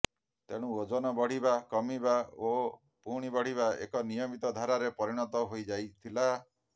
ତେଣୁ ଓଜନ ବଢିବା କମିବା ଓ ପୁଣି ବଢିବା ଏକ ନିୟମିତ ଧାରାରେ ପରିଣତ ହୋଇ ଯାଇଥିଲା